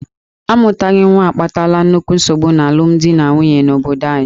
A mụtaghị nwa akpatala nnukwu nsogbu n'alụmdi na nwunye n'obodo anyị.